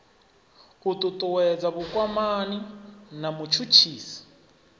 u ṱuṱuwedza vhukwamani na mutshutshisi